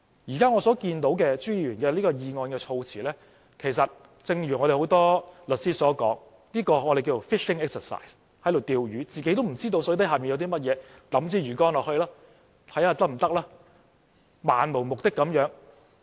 我現在看到朱議員的議案措辭，就正如很多律師所說的 "fishing exercise"， 是在釣魚，自己也不知道水底有甚麼，只是拋出魚竿漫無目的嘗試。